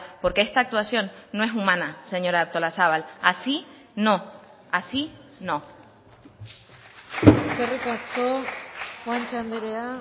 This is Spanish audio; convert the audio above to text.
porque esta actuación no es humana señora artolazabal así no así no eskerrik asko guanche andrea